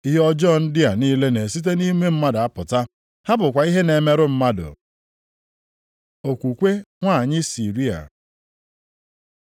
Ihe ọjọọ ndị a niile na-esite nʼime mmadụ a pụta. Ha bụkwa ihe na-emerụ mmadụ.” Okwukwe nwanyị Siria